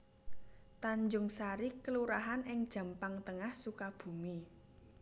Tanjungsari kelurahan ing Jampang Tengah Sukabumi